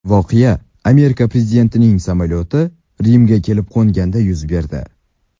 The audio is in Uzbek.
Voqea Amerika prezidentining samolyoti Rimga kelib qo‘nganida yuz berdi.